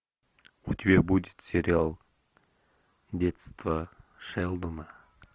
у тебя будет сериал детство шелдона